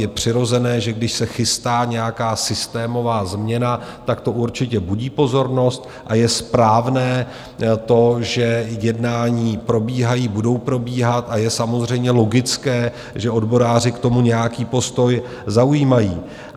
Je přirozené, že když se chystá nějaká systémová změna, tak to určitě budí pozornost, a je správné to, že jednání probíhají, budou probíhat, a je samozřejmě logické, že odboráři k tomu nějaký postoj zaujímají.